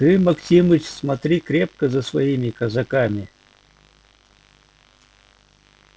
ты максимыч смотри крепко за своими казаками